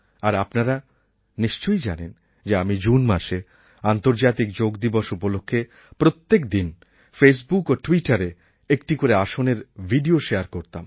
আর আপনারা নিশ্চয়ই জানেন যে আমি জুন মাসে আন্তর্জাতিক যোগ দিবস উপলক্ষে প্রত্যেক দিন ফেসবুক ও ট্যুইটারএ একটি করে আসনের ভিডিও শেয়ার করতাম